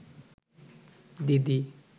দিদি